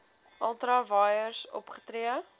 ultra vires opgetree